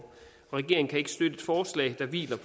så videre